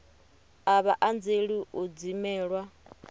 a vha anzeli u dzimelwa